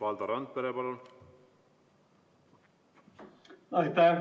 Valdo Randpere, palun!